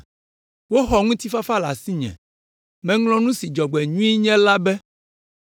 Woxɔ ŋutifafa le asinye, meŋlɔ nu si dzɔgbenyui nye la be.